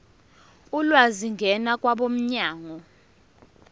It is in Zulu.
ulwazi ngena kwabomnyango